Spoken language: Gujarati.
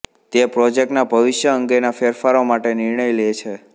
તે પ્રોજેક્ટના ભવિષ્ય અંગેના ફેરફારો માટેનો નિર્ણય લે છે